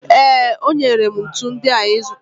Ee, o nyere m ntu ndị ahụ ị zụtara.